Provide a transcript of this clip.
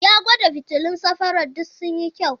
Ya gwada fitilun safarar duk sun yi kyau.